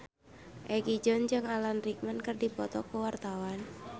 Egi John jeung Alan Rickman keur dipoto ku wartawan